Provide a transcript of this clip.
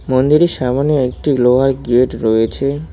মন্দিরের সামোনে একটি লোহার গেট রয়েছে।